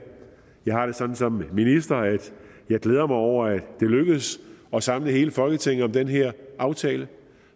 jeg har det sådan som minister og jeg glæder mig over at det lykkedes at samle hele folketinget om den her aftale